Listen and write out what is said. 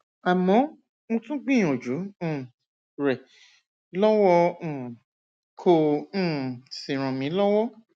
àmọ mo tún gbìyànjú um rẹ lọwọ um kò um sì ràn mí lọwọ